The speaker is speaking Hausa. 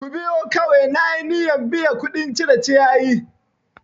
Ku biyu kawai na yi niyyan biya kuɗin cire ciyayi!